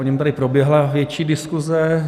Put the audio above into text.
O něm tady proběhla větší diskuze.